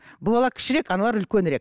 бұл бала кішірек аналар үлкенірек